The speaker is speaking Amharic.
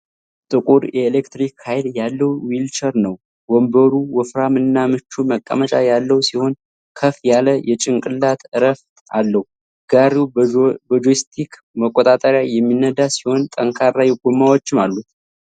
ጥቁር፣ የኤሌክትሪክ ኃይል ያለው ዊልቸር ነው ። ወንበሩ ወፍራም እና ምቹ መቀመጫ ያለው ሲሆን፣ ከፍ ያለ የጭንቅላት እረፍት አለው ። ጋሪው በጆይስቲክ መቆጣጠሪያ የሚነዳ ሲሆ ን፣ ጠንካራ ጎማዎችም አሉት።